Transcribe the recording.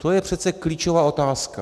To je přece klíčová otázka.